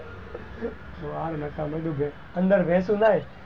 અંદર ભેશો નાય,